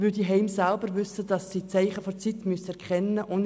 Die Heime wissen, dass sie die Zeichen der Zeit erkennen müssen.